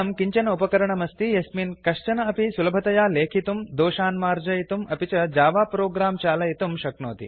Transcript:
इदं किञ्चन उपकरणमस्ति यस्मिन् कश्चन अपि सुलभतया लेखितुं दोषान् मार्जयितुं अपि च जावा प्रोग्राम् चालयितुं शक्नोति